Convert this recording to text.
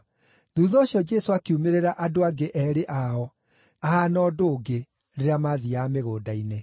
Thuutha ũcio Jesũ akiumĩrĩra andũ angĩ eerĩ ao, ahaana ũndũ ũngĩ, rĩrĩa maathiiaga mĩgũnda-inĩ.